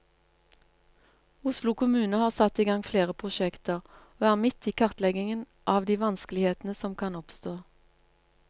Oslo kommune har satt i gang flere prosjekter, og er midt i kartleggingen av de vanskelighetene som kan oppstå.